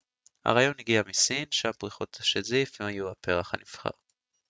הרעיון הגיע מסין שם פריחות השזיף היו הפרח הנבחר